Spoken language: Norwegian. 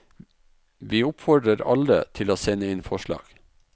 Vi oppfordrer alle til å sende inn forslag.